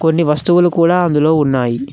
కొన్ని వస్తువులు కూడా అందులో ఉన్నాయి.